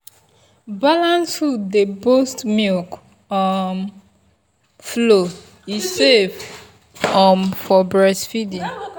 balanced food dey boost milk um flow e safe um for breastfeeding.